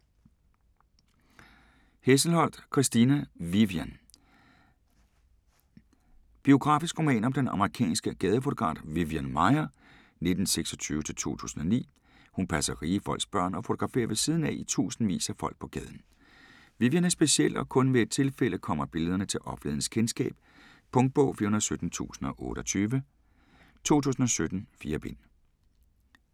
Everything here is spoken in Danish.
Hesselholdt, Christina: Vivian Biografisk roman om den amerikanske gadefotograf Vivian Maier (1926-2009). Hun passer rige folks børn og fotograferer ved siden af i tusindvis af folk på gaden. Vivian er speciel, og kun ved et tilfælde kommer billederne til offentlighedens kendskab. Punktbog 417028 2017. 4 bind.